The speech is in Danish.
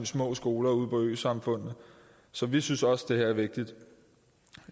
små skoler ude i øsamfundene så vi synes også at det her er vigtigt